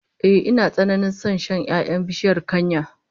Ehh, ina tsananin son shan 'ya'yan bishiyar kanya